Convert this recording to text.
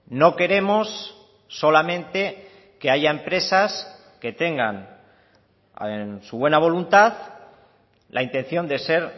no queremos solamente que haya empresas que tengan en su buena voluntad la intención de ser